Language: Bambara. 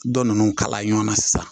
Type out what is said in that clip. Dɔ ninnu kala ɲɔnna sisan